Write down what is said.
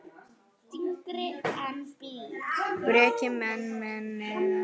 Breki: Menn, menn eitthvað slappir?